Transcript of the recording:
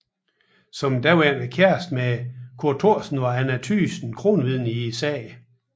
Som daværende kæreste med Kurt Thorsen var Anna Thygesen kronvidne i sagen